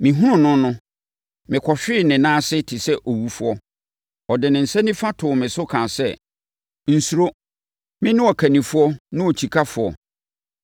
Mehunuu no no, mekɔhwee ne nan ase te sɛ owufoɔ. Ɔde ne nsa nifa too me so kaa sɛ, “Nsuro! Mene Ɔkannifoɔ ne Okyikafoɔ.